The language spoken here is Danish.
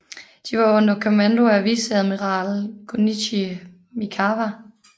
De var under kommando af viceadmiral Gunichi Mikawa